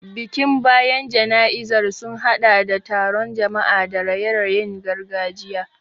Bikin bayan jana'izar sun hadɗa da taron jama'a da raye-rayen gargajiya.